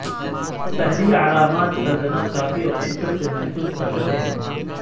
پہلی علامات دردناک کافی اور شدت سے محسوس کر رہے ہیں